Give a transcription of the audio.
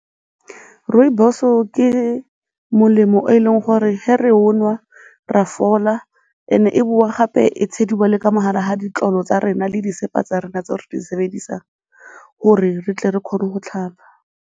Rooibos-o ke molemo o e leng gore ge re o o nwa re a fola, and-e e bowa gape e tshediwa le ka mo gare ga ditlolo tsa rena le disepa tsa rona tseo re di sebedisang gore re tle re kgone go tlhapa.